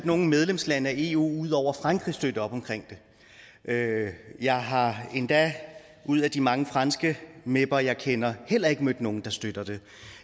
nogen medlemslande af eu ud over frankrig støtte op omkring det jeg har endda ud af de mange franske meper jeg kender heller ikke mødt nogen der støtter det